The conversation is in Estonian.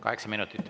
Kaheksa minutit.